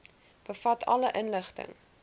bevat alle inligting